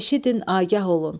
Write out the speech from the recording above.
"Eşidin, agah olun!